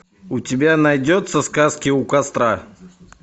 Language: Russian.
у тебя найдется сказки у костра